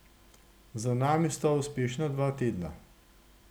Za nami sta uspešna dva tedna.